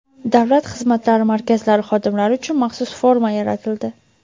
Davlat xizmatlari markazlari xodimlari uchun maxsus forma yaratildi.